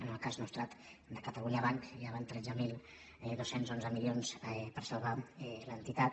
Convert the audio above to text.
en el cas nostrat de catalunya banc ja van tretze mil dos cents i onze milions per salvar l’entitat